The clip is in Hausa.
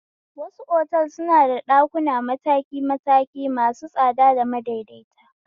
Wasu otal suna ɗakuna mataki mataki masu tsada da madaidaita